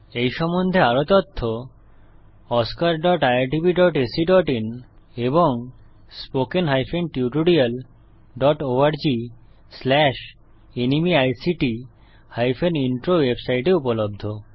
এই সম্বন্ধে আরও তথ্য oscariitbacআইএন এবং spoken tutorialorgnmeict ইন্ট্রো ওয়েবসাইটে উপলব্ধ